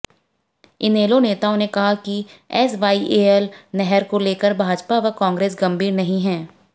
इनेलो नेताओं ने कहा कि एसवाईएल नहर को लेकर भाजपा व कांग्रेस गंभीर नहीं है